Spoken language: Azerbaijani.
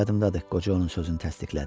Yadımdadır, qoca onun sözünü təsdiqlədi.